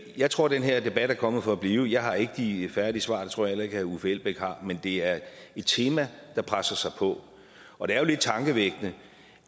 jeg tror den her debat er kommet for at blive jeg har ikke de færdige svar det tror jeg heller ikke herre uffe elbæk har men det er et tema der presser sig på og det er jo lidt tankevækkende